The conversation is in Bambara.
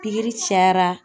Pikiri cayara.